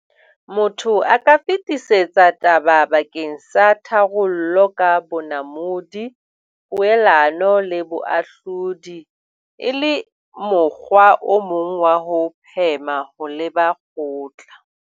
Motho a ka fetisetsa taba bakeng sa tharollo ka bonamodi, poelano le boahlodi, e le mokgwa o mong wa ho phema ho leba kgotla.